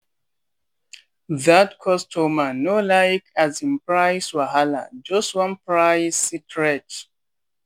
that customer no like um price wahala—just one price straight.